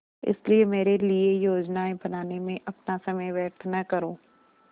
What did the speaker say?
इसलिए मेरे लिए योजनाएँ बनाने में अपना समय व्यर्थ न करो